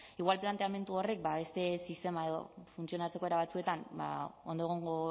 igual planteamendu horrek beste sistema edo funtzionatzeko era batzuetan ondo egongo